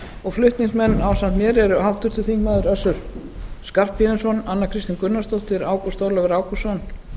og flutningsmenn ásamt mér eru háttvirtur þingmaður össur skarphéðinsson anna kristín gunnarsdóttir ágúst ólafur ágústsson